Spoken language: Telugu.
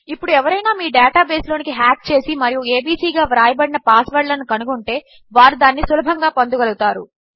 ఇప్పుడు ఎవరైనామీడేటాబేస్లోనికిహ్యాక్చేసిమరియుabcగావ్రాయబడినపాస్వర్డ్లనుకనుగొనంటే వారుదానినిసులభంగాపొందగలుగుతారు